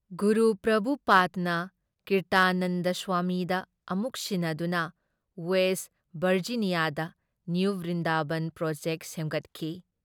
ꯒꯨꯔꯨ ꯄ꯭ꯔꯚꯨꯄꯥꯗꯅ ꯀꯤꯔꯇꯥꯅꯟꯗ ꯁ꯭ꯋꯥꯃꯤꯗ ꯑꯃꯨꯛ ꯁꯤꯟꯅꯗꯨꯅ ꯋꯦꯁ ꯚꯔꯖꯤꯅꯤꯌꯥꯗ ꯅꯤꯌꯨ ꯕ꯭ꯔꯤꯟꯗꯥꯕꯟ ꯄ꯭ꯔꯣꯖꯦꯛꯠ ꯁꯦꯝꯒꯠꯈꯤ ꯫